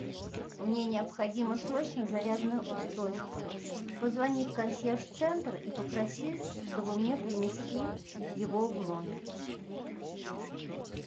мне необходимо срочно зарядное устройство позвони в консьерж центр и попроси чтобы мне принесли его в номер